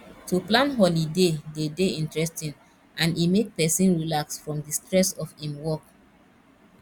to plan holiday de dey interesting and e make persin relax from di stress of im work